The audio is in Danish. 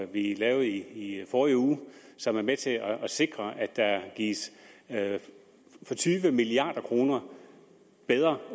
vi lavede i forrige uge og som er med til at sikre at der gives for tyve milliard kroner bedre